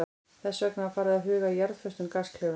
Þess vegna var farið að huga að jarðföstum gasklefum.